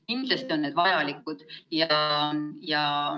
Kindlasti on need vajalikud.